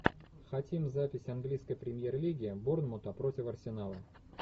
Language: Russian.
хотим запись английской премьер лиги борнмута против арсенала